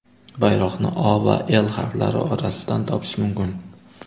Bayroqni O va L harflari orasidan topish mumkin.